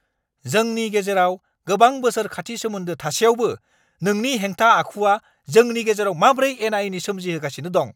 जोंनि गेजेराव गोबां बोसोर खाथि सोमोन्दो थासेयावबो नोंनि हेंथा-आखुया जोंनि गेजेराव माब्रै एना-एनि सोमजिहोगासिनो दं।